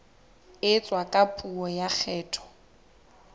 etswa ka puo ya kgetho